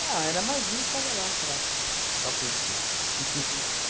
Não, era mais um que tava lá para para curtir.